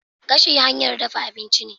Gashi hanyar dafa abinci ne.